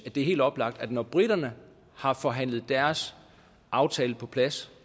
det er helt oplagt når briterne har forhandlet deres aftale på plads